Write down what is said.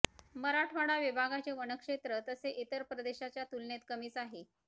मराठवाडा विभागाचे वन क्षेत्र तसे इतर प्रदेशाच्या तुलनेत कमीच आहे